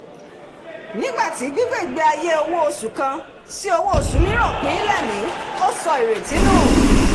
nígbà tí gbígbé ìgbé ayé owó oṣù kan sí owó oṣù mìíràn pin-ín lẹ́mìí ó sọ ìrètí nù